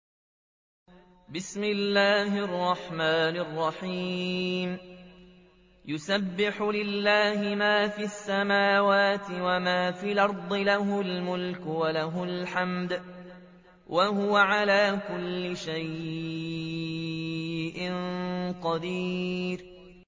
يُسَبِّحُ لِلَّهِ مَا فِي السَّمَاوَاتِ وَمَا فِي الْأَرْضِ ۖ لَهُ الْمُلْكُ وَلَهُ الْحَمْدُ ۖ وَهُوَ عَلَىٰ كُلِّ شَيْءٍ قَدِيرٌ